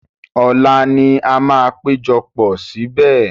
Ọ̀la ni a máa péjọpọ̀ síbẹ̀.